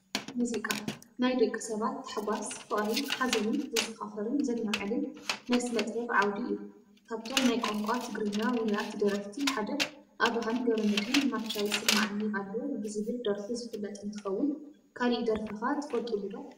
ሙዚቃ፡- ናይ ደቂ ሰባት ታሕጓስ፣ ፍቕሪ፣ ሓዘንን ዘዘኻኽርን ዘላዓዕልን ናይ ስነ ጥበብ ዓውዲ እዩ፡፡ ካብቶም ናይ ቋንቋ ትግርኛ ውሩያት ደረፍቲ ሓደ ኣብራሃም ገ/መድህን ማቻ ይስማዓኒ ኣሎ ብዝብል ደርፉ ዝፍለጥ እንትኸውን ካሊእ ደርፊ ኸ ትፈልጡሉ ዶ?